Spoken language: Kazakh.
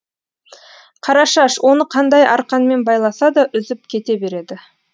қарашаш оны қандай арқанмен байласа да үзіп кете береді